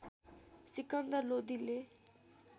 Sikandar लोदीले